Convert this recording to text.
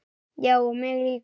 Já og mig líka.